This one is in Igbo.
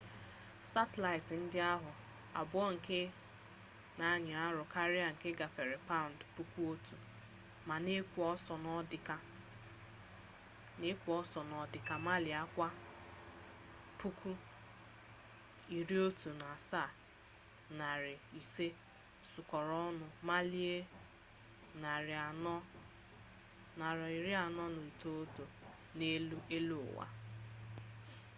satịlaịtị ndị ahụ abụọ nke na-anyị arụ karịa nke gafere paụnd 1,000 ma na-ekwo ọsọ n'ọdịka maịlị kwa awa 17,500 sukọrọ ọnụ maịlị 491 n'elu eluụwa